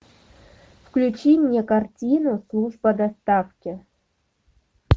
включи мне картину служба доставки